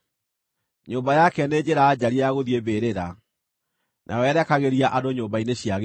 Nyũmba yake nĩ njĩra njariĩ ya gũthiĩ mbĩrĩra, nayo yerekagĩria andũ nyũmba-inĩ cia gĩkuũ.